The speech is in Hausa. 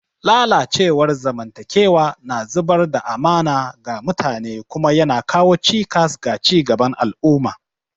Lalacewar zamantakewa na zubar da amana ga mutane kuma yana kawo cikas ga ci gaban al'umma.